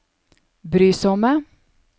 brysomme